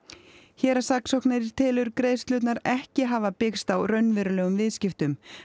héraðssaksóknari telur greiðslurnar ekki hafa byggst á raunverulegum viðskiptum